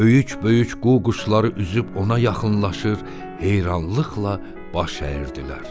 Böyük-büyük qu-quşları üzüb ona yaxınlaşır, heyranlıqla baş əyirdilər.